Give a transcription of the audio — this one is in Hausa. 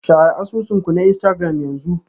Share asusun ku na Instagram yanzu.